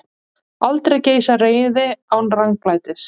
Aldrei geisar reiði án ranglætis.